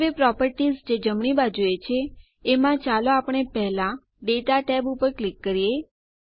હવે પ્રોપર્ટીઝ જે જમણી બાજુએ છે એમાં ચાલો આપણે પહેલા દાતા માહિતી ટેબ ઉપર ક્લિક કરીએ